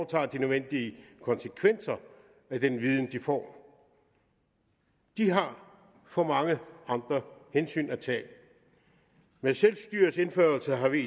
tager de nødvendige konsekvenser af den viden de får de har for mange andre hensyn at tage med selvstyrets indførelse har vi i